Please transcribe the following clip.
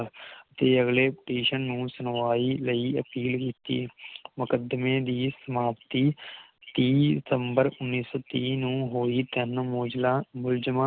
ਤੇ ਅਗਲੇ Petition ਨੂੰ ਸੁਣਵਾਈ ਲਈ ਅਪੀਲ ਕੀਤੀ ਮੁਕਦਮੇ ਦੀ ਸਮਾਪਤੀ ਤੀਹ ਦਸੰਬਰ ਉਨ੍ਹੀ ਸੌ ਤੀਹ ਨੂੰ ਹੋਈ ਤਿੰਨ ਮੁਲਜ਼ਮਾਂ ਮੁਲਾਜ਼ਮਾਂ